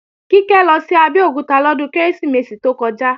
Kíkẹ́ lọ sí Abẹ́òkúta lọ́dún Kérésìmesì tó kọjá